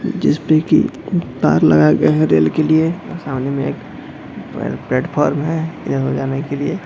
जिसपे की तार लगाया गया है रेल के लिए सामने मे एक प्लेटफॉर्म हैं यहां जाने के लिए।